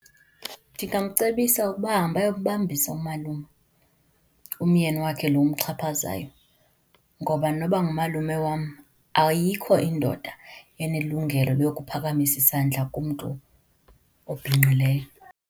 Ndingamcebisa ukuba ahambe ayokumbambisa umalume, umyeni wakho lo umxhaphazayo. Ngoba noba ngumalume wam, ayikho indoda enelungelo lokuphakamisa isandla kumntu obhinqileyo.